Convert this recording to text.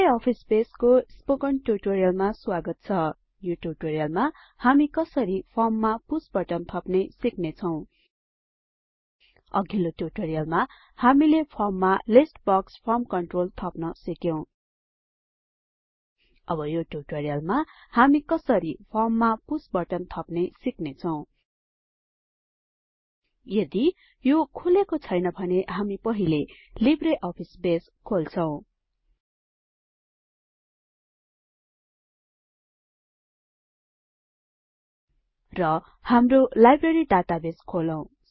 Libre office बेसको spoken ट्युटोरियलमा स्वागत छ यो टूयूटोरियलमा हामी कसरी फर्ममा पुष बटन थप्ने सिक्नेछौं अघिल्लो टूयूटोरियलमा हामीले फर्ममा लिस्ट बक्स फर्म कन्ट्रोल थप्न सिक्यौं अब यो टूयूटोरियलमा हामी कसरी फर्म मा पुष बटन थप्ने सिक्छौं यदि यो खुलेको छैन भने हामी पहिले लिब्रे अफिस बेस खोल्छौं र हाम्रो लाइब्रेरी डाटाबेस खोलौं